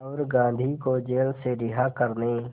और गांधी को जेल से रिहा करने